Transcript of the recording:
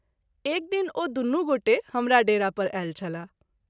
एक दिन ओ दुनू गोटे हमरा डेरा पर आयल छलाह।